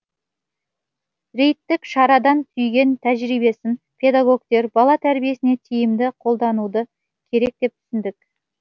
рейдтік шарадан түйген тәжірибесін педагогтер бала тәрбиесіне тиімді қолдануды керек деп түсіндік